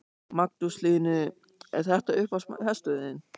Magnús Hlynur: Er þetta uppáhalds hesturinn þinn?